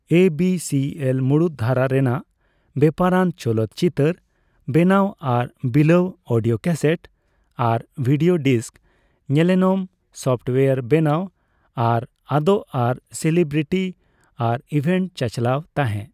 ABCL ᱢᱩᱲᱩᱫ ᱫᱷᱟᱨᱟ ᱨᱮᱱᱟᱜ ᱵᱮᱯᱟᱨᱟᱱ ᱪᱚᱞᱚᱛ ᱪᱤᱛᱟᱹᱨ ᱵᱮᱱᱟᱣ ᱟᱨ ᱵᱤᱞᱟᱹᱣ, ᱚᱰᱤᱣ ᱠᱟᱥᱮᱴ ᱟᱨ ᱵᱷᱤᱰᱤᱣ ᱰᱤᱥᱠ, ᱧᱮᱱᱮᱞᱚᱢ, ᱥᱚᱯᱷᱚᱴᱣᱟᱨ ᱵᱮᱱᱟᱣ ᱟᱨ ᱟᱫᱚᱜ ᱟᱨ ᱥᱮᱞᱤᱵᱨᱤᱴᱤ ᱟᱨ ᱤᱵᱷᱮᱱᱴ ᱪᱟᱪᱟᱞᱟᱣ ᱛᱟᱦᱮ ᱾